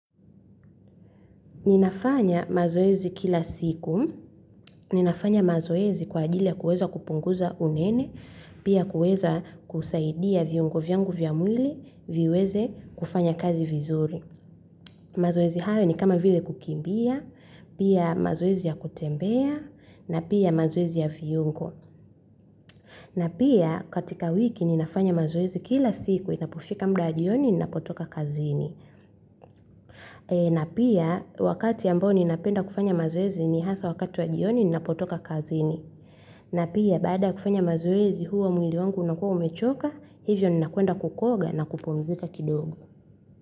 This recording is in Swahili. Ninafanya mazoezi kila siku, ninafanya mazoezi kwa ajili ya kueza kupunguza unene, pia kueza kusaidia viungo vyangu vya mwili, viweze kufanya kazi vizuri. Mazoezi hayo ni kama vile kukimbia, pia mazoezi ya kutembea, na pia mazoezi ya viungo. Na pia katika wiki ninafanya mazoezi kila siku inapofika mda wa jioni ninapotoka kazini. Na pia wakati ambao ninapenda kufanya mazoezi ni hasa wakati wa jioni ninapotoka kazini. Na pia baada ya kufanya mazoezi huwa mwili wangu unakua umechoka, hivyo ninakwenda kukoga na kupumzika kidogo.